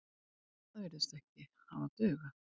Það virðist ekki hafa dugað.